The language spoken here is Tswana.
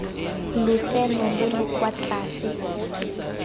lotseno lo lo kwa tlase